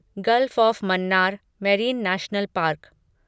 gulf of Mannar marine national park